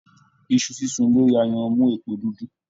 Iṣu sísun lórí ayanran n mú èpo dúdú